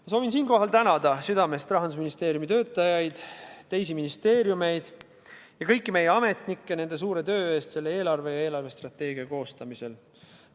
Ma soovin siinkohal tänada südamest Rahandusministeeriumi töötajaid, teisi ministeeriume ja kõiki meie ametnikke nende suure töö eest selle eelarve ja eelarvestrateegia koostamisel.